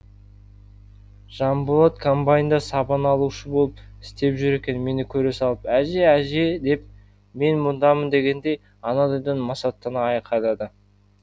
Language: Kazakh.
жанболат комбайнда сабан алушы болып істеп жүр екен мені көре салып әже әже деп мен мұндамын дегендей анадайдан масаттана айқайлады